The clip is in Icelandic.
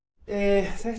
þetta